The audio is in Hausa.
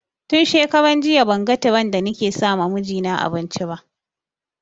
Tun shekaran jiya ban ga tiren da ni ke sama mijina abinci ba